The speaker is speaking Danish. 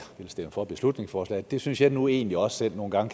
ville stemme for beslutningsforslaget det synes jeg nu egentlig også selv nogle gange